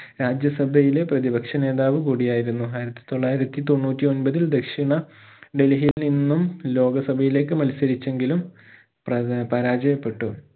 രാജ്യ സഭയിലെ പ്രതിപക്ഷ നേതാവു കൂടിയായിരുന്നു ആയിരത്തി തൊള്ളായിരത്തി തൊണ്ണൂറ്റി ഒമ്പതിൽ ദക്ഷിണ ഡൽഹിയിൽ നിന്നും ലോക സഭയിലേക് മത്സരിച്ചെങ്കിലും പ്രത പരാജയപ്പെട്ടു